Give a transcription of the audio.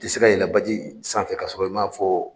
I tɛ se ka yɛlɛn baji san fɛ k'a sɔrɔ i ma fɔ